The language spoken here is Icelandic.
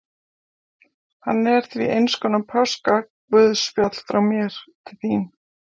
Hann er því einskonar páskaguðspjall frá mér til þín.